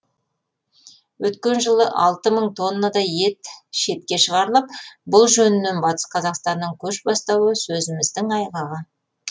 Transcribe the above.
өткен жылы алты мың тоннадай ет шетке шығарылып бұл жөнінен батыс қазақстанның көш бастауы сөзіміздің айғағы